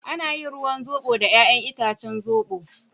Ana yin ruwan zobo da yayan itacen zobo.